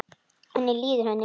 Hvernig líður henni núna?